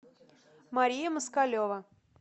мария москалева